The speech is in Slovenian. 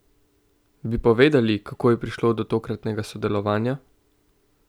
Bi povedali, kako je prišlo do tokratnega sodelovanja?